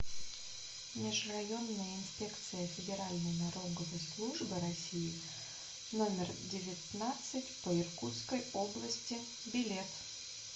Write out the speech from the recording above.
межрайонная инспекция федеральной налоговой службы россии номер девятнадцать по иркутской области билет